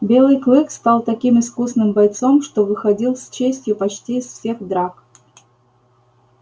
белый клык стал таким искусным бойцом что выходил с честью почти из всех драк